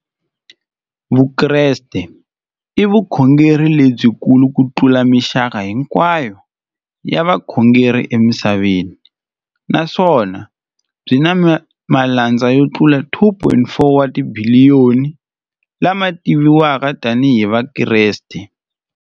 Vukreste i vukhongeri lebyi kulu kutlula mixaka hinkwayo ya vukhongeri emisaveni, naswona byi na malandza yo tlula 2.4 wa tibiliyoni, la ma tiviwaka tani hi Vakreste.